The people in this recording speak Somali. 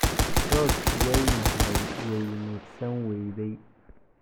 Rose way naxday - way neefsan wayday.